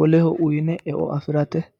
woleho uyine eo afirateeti.